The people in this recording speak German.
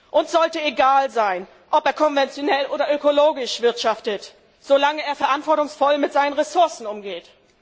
Uns sollte egal sein, ob er konventionell oder ökologisch wirtschaftet, solange er verantwortungsvoll mit seinen Ressourcen umgeht.